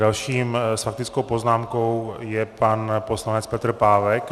Dalším s faktickou poznámkou je pan poslanec Petr Pávek.